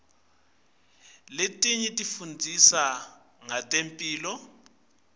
letinye tifundzisa ngetemphilo